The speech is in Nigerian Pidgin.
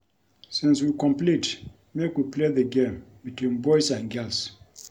Since we complete make we play the game between boys and girls